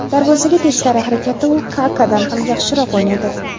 Darvozaga teskari harakatda u Kakadan ham yaxshiroq o‘ynaydi.